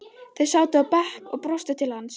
Þau sátu á bekk og brostu til hans.